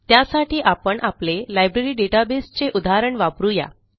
त्यासाठी आपण आपले लायब्ररी डेटाबेस चे उदाहरण वापरू या